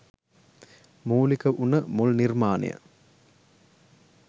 මූලික වුන මුල් නිර්මාණය.